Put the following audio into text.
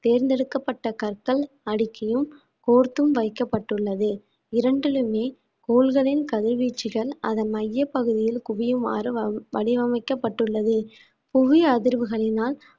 தேர்ந்தெடுக்கப்பட்ட கற்கள் அடுக்கியும் கோர்த்தும் வைக்கப்பட்டுள்ளது இரண்டிலுமே கோள்களின் கதிர்வீச்சுகள் அதன் மையப்பகுதியில் குவியுமாறு வ~ வடிவமைக்கப்பட்டுள்ளது புவி அதிர்வுகளினால்